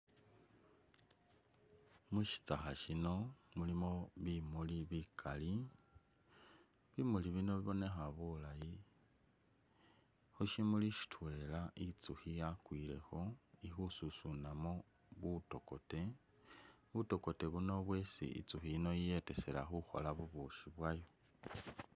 Mushitsakha muno mulimo bimuli bikali ,bimuli bino bibomekha bulayi khushimuli shitwela itsukhi yakwilekho ikhu susunamo butokote ,butokote buno bwesi itsukhi yino yiyetesela khukhola bubishi bwayo.